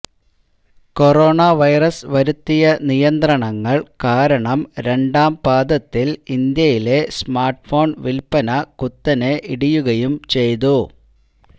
corona virus വരുത്തിയ നിയന്ത്രണങ്ങൾ കാരണം രണ്ടാം പാദത്തിൽ ഇന്ത്യയിലെ സ്മാർട്ട്ഫോൺ വിൽപ്പന കുത്തനെ ഇടിയുകയും ചെയ്യ്തു